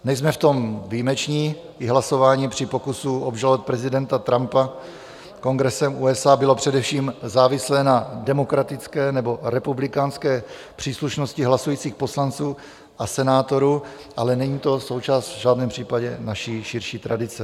Nejsme v tom výjimeční, i hlasování při pokusu obžalovat prezidenta Trumpa Kongresem USA bylo především závislé na demokratické nebo republikánské příslušnosti hlasujících poslanců a senátorů, ale není to součást v žádném případě naší širší tradice.